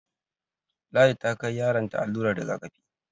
Ladi ta kai yaron ta allurar rigakafi